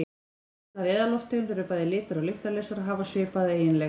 Allar eðallofttegundir eru bæði litar- og lyktarlausar og hafa svipaða eiginleika.